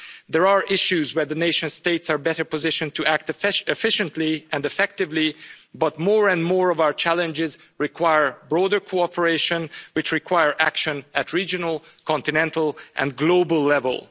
Certainly there are issues where the nation states are better positioned to act efficiently and effectively, but more and more of our challenges require broader cooperation, which require action at regional, continental and global